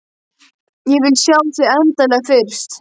Ég vil sjá þig endanlega fyrst.